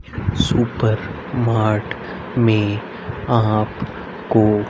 supermart में आप को--